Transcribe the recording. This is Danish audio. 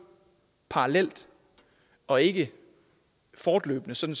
parallelt og ikke fortløbende sådan